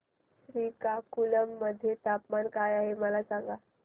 श्रीकाकुलम मध्ये तापमान काय आहे मला सांगा